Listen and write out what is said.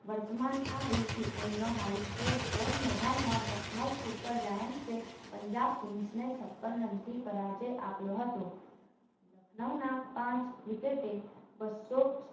વર્તમાન આ IPL નો high state score નોંધાવ્યો લખનવ super giant એ પંજાબ kings ને છપન રનથી પરાજય આપ્યો હતો લખનવના પાંચ wicket એ બસો